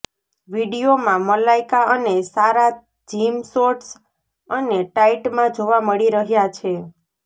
વીડિયોમાં મલાઇકા અને Sara gym shorts અને ટાઇટમાં જોવા મળી રહ્યા છે